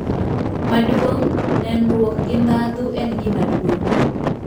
Maduong, nenruok gi ndadhu en gima duong